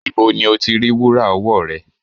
Ibo ni o ti rí wúrà ọwọ́ rẹ?